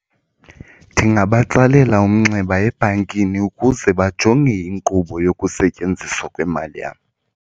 Ndingabatsalela umnxeba ebhankini ukuze bajonge inkqubo yokusetyenziswa kwemali yam.